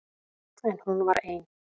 En hún var ein.